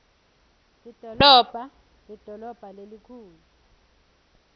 lidolobha lidolobha lelikhulu